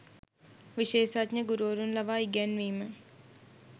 විශේෂඥ ගුරුවරුන් ලවා ඉගැන්වීම